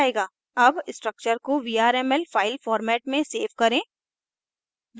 अब structure को vrml file format में सेव करें